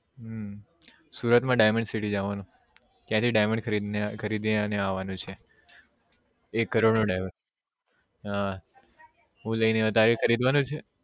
હમ સુરત માં diamond city જવાનું ત્યાં થી Diamond ખરીદી ને આવાનું છે એક કરોડ નો Diamond